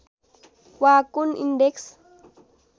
वा कुन इन्डेक्स